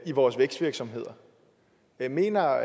i vores vækstvirksomheder mener